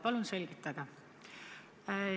Palun selgitage!